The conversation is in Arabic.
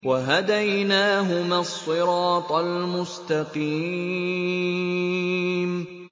وَهَدَيْنَاهُمَا الصِّرَاطَ الْمُسْتَقِيمَ